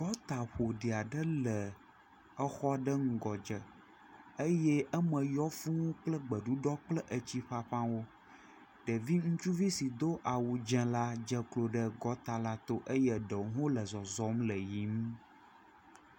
Gɔta ƒoɖi aɖe le exɔ ɖe ŋgɔ dze eye eme yɔ kple gbeɖuɖɔ kple etsi ƒaƒãwo. Ɖevi ŋutsuvi do awu dzɛ la dze klo ɖe kɔta la tɔ eye eɖewo le zɔzɔm le yiym.